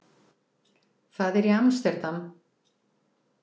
Það er í Amsterdam.